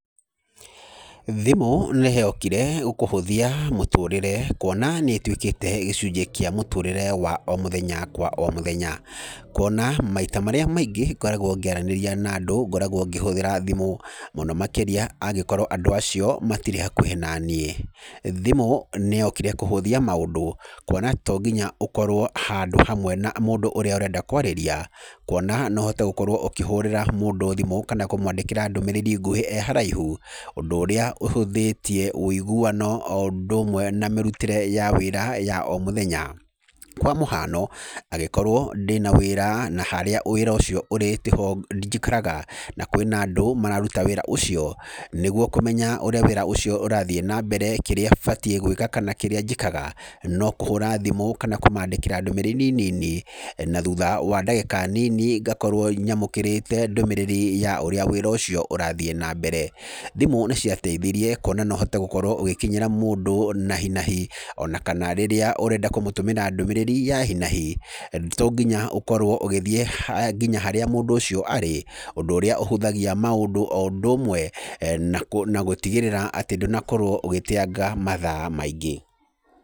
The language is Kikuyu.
Thimũ nĩ yokire kũhũthia mũtũrĩre, kuona nĩ ĩtuĩkĩte gĩcunjĩ kĩa mũtũrĩre wa o mũthenhya kwa o mũthenya, kuona maita marĩa maingĩ ngoragwo ngĩaranĩria andũ ngoragwo ngĩhũthĩra thimũ, mũno makĩria angĩkorwo andũ acio matirĩ hakuhĩ naniĩ, thimũ nĩ yokire kũhũthia maũndũ, kuona tonginya ũkorwo handũ hamwe na mũndũ ũrĩa ũrenda kwarĩria, kuona no ũhote gũkorwo ũkĩhũrĩra mũndũ thimũ, kana kũmwandĩkĩra ndũmĩrĩri nguhĩ eharaihu, ũndũ ũrĩa ũhũthĩtie wĩiguwano o ũndũ ũmwe na mĩrutĩre ya wĩra ya o mũthenya, kwa mũhano, angĩkorwo ndĩna wĩra na harĩa wĩra ũcio ũrĩ tiho njikaraga, na kwĩna andũ mararuta wĩra ũcio, nĩguo kũmenya ũrĩa wĩra ũcio ũrathiĩ na mbere, kĩrĩa batiĩ gwĩka kana kĩrĩa njĩkaga, no kũhũra thimũ kana kũmandĩkĩra ndũmĩrĩri nini, na thutha wa ndagĩka nini, ngakorwo nyamũkĩrĩte ndũmĩrĩri ya ũrĩa wĩra ũcio ũrathiĩ na mbere, thimũ nĩ cia teithirie kuona no ũhote gũkorwo ũgĩkinyĩra mũndũ nahi nahi, onakana rĩrĩa ũrenda kũmũtũmĩra ndũmĩrĩri ya hinahi, tonginya ũkorwo ũgĩthiĩ nginya harĩa mũndũ ũcio arĩ, ũndũ ũrĩa ũhũthagia maũndũ o ũndũ ũmwe na na gütigĩrĩra atĩ ndũnakorwo ũgĩteanga mathaa maingĩ.